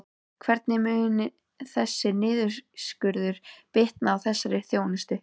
Hvernig mun þessi niðurskurður bitna á þessari þjónustu?